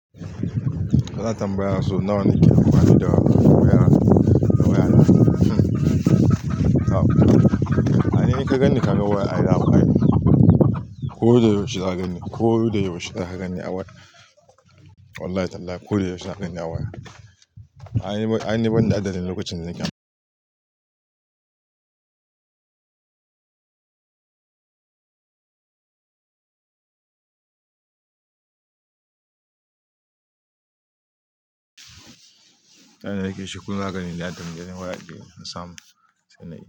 Kana tambaya sau nawa ne ke amfani da waya? Wayana hmm, ai ni in ka gani kaga waya ai dama ai ko da yaushe za ka gani, ko da yaushe za ka gani a waya. Wallahi tallahi ko da yaushe za ka gani a waya. Ai ni ban da adadin lokacin da nake am Ai na yake shuku ba gani adadi na waya da in samu sannan in.